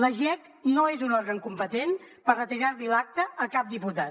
la jec no és un òrgan competent per retirar li l’acta a cap diputat